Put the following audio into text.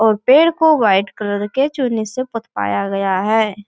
और पेड़ को व्हाइट कलर के चूने से पुतवाया गया है।